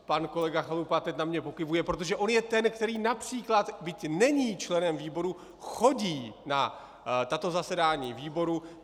Pan kolega Chalupa teď na mě pokyvuje, protože on je ten, který například, byť není členem výboru, chodí na tato zasedání výboru.